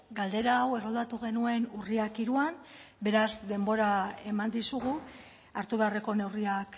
galdera hau erroldatu genuen urriak hiruan beraz denbora eman dizugu hartu beharreko neurriak